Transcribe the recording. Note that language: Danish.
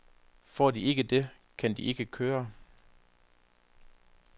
Får de ikke det, kan de ikke køre.